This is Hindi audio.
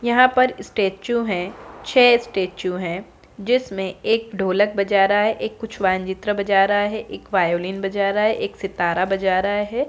यहां परस्टेचू है छे स्टेचू है जिसमे एक ढोलक बजा रहा है एक कुछ वांजित्र बजा रहा है एक वायोलीन बजा रहा है एक सीतारा बजा रहा है।